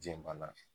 Jɛn banna